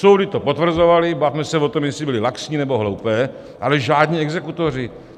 Soudy to potvrzovaly, bavme se o tom, jestli byly laxní, nebo hloupé, ale žádní exekutoři.